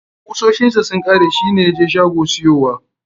Kusoshin sa sun kare, shi ne ya je shago siyowa.